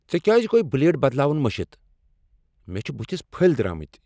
ژےٚ کیٛاز گوٚے بلیڈ بدلاون مٔشتھ؟ مےٚ چھ بٕتھس پھٔلۍ درامٕتۍ۔